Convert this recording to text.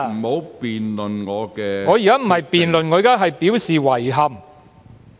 我現在不是評論，而是表示遺憾。